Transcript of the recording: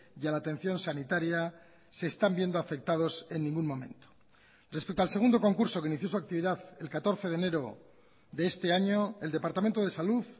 y a la atención sanitaria se están viendo afectados en ningún momento respecto al segundo concurso que inició su actividad el catorce de enero de este año el departamento de salud